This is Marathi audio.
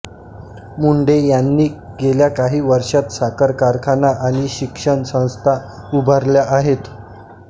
मुंडे यांनी गेल्या काही वर्षांत साखर कारखाना आणि शिक्षण संस्था उभारल्या आहेत